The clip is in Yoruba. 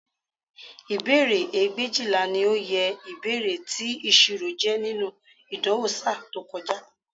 Ìbéèrè ẹgbẹ̀éjìlá ni oye ìbéèrè tí ìṣirò jẹ́ nínú ìdánwò ṣáá tí ó kọjá